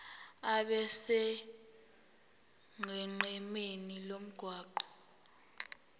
abe sonqenqemeni lomgwaqo